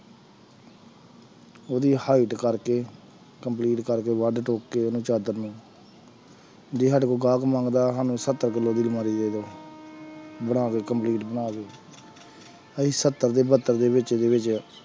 ਉਹਦੀ height ਕਰਕੇ complete ਕਰਕੇ ਵੱਢ ਠੋਕ ਕੇ ਉਹਨੂੰ ਚਾਦਰ ਨੂੰ ਜੇ ਸਾਡੇ ਕੋਲ ਗਾਹਕ ਮੰਗਦਾ ਸਾਨੂੰ ਸੱਤਰ ਕਿੱਲੋ ਦੀ ਅਲਮਾਰੀ ਦੇ ਦਓ ਬਣਾ ਕੇ complete ਬਣਾ ਕੇ ਅਸੀਂ ਸੱਤਰ ਤੇ ਬਹੱਤਰ ਦੇ ਵਿੱਚ ਵਿੱਚ